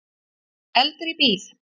Eldur í bíl